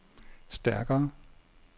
stærkere